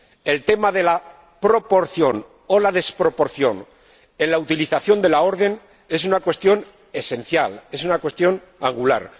El tema de la proporción o la desproporción en la utilización de la orden es una cuestión esencial, es una cuestión angular.